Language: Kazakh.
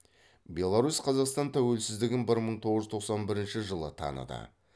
беларусь қазақстан тәуелсіздігін бір мың тоғыз жүз тоқсан бірінші жылы таныды